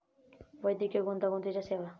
वैद्यकीय गुंतागुंतीच्या सेवा